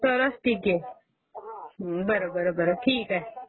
तरच टीकेल..बर बर बर बर ठाक आहे..